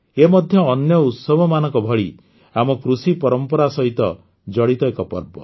ଏହା ମଧ୍ୟ ଅନ୍ୟ ଉତ୍ସବମାନଙ୍କ ଭଳି ଆମ କୃଷି ପରମ୍ପରା ସହ ଜଡ଼ିତ ଏକ ପର୍ବ